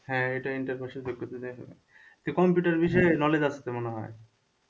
হ্যাঁ এটা inter pass যোগ্যতা দিয়েই হবে মনে হয় computer বিষয়ে knowledge আছে তো মনে হয়,